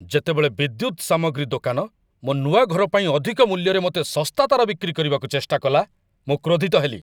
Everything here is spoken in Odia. ଯେତେବେଳେ ବିଦ୍ୟୁତ୍ ସାମଗ୍ରୀ ଦୋକାନ ମୋ ନୂଆ ଘର ପାଇଁ ଅଧିକ ମୂଲ୍ୟରେ ମୋତେ ଶସ୍ତା ତାର ବିକ୍ରି କରିବାକୁ ଚେଷ୍ଟା କଲା, ମୁଁ କ୍ରୋଧିତ ହେଲି।